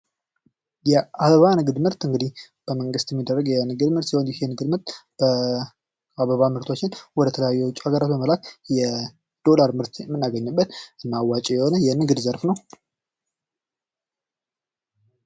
የአበባ ንግድ ምርት እንግዲህ በመንግስት የሚደረግ የንግድ ምርት ሲሆን ይህ የንግድ ምርት የአበባ ምርቶችን ወደ ተለያዩ የውጭ ሀገሮች በመላክ የዶላር ምርት የምናገኝበት እና አዋጭ የሆነ የንግድ ዘርፍ ነው ።